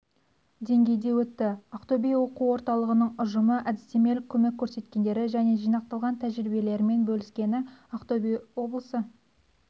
деңгейде өтті ақтөбе оқу орталығының ұжымы әдістемелік көмек көрсеткендері және жинақтаған тәжірибелерімен бөліскені ақтөбе облысы